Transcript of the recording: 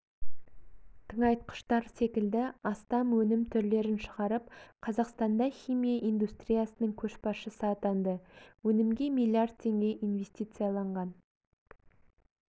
тыңайтқыштар секілді астам өнім түрлерін шығарып қазақстанда химия индустриясының көшбасшысы атанды өнімге миллиард теңге инвестицияланған